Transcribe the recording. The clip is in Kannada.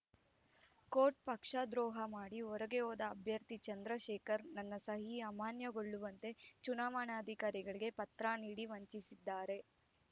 ಕೋಟ್‌ ಪಕ್ಷದ್ರೋಹ ಮಾಡಿ ಹೊರಗೆ ಹೋದ ಅಭ್ಯರ್ಥಿ ಚಂದ್ರಶೇಖರ್‌ ನನ್ನ ಸಹಿ ಅಮಾನ್ಯಗೊಳ್ಳುವಂತೆ ಚುನಾವಣಾಧಿಕಾರಿಗೆ ಪತ್ರ ನೀಡಿ ವಂಚಿಸಿದ್ದಾರೆ